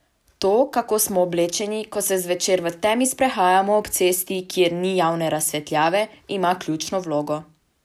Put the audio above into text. To, kako smo oblečeni, ko se zvečer v temi sprehajamo ob cesti, kjer ni javne razsvetljave, ima ključno vlogo.